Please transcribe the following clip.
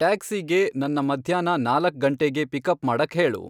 ಟ್ಯಾಕ್ಸೀಗೆ ನನ್ನ ಮಧ್ಯಾಹ್ನ ನಾಲಕ್ ಗಂಟೇಗೆ ಪಿಕಪ್ ಮಾಡಕ್ ಹೇಳು